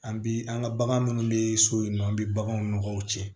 An bi an ka bagan munnu be so yen nɔ an be baganw nɔgɔw cɛ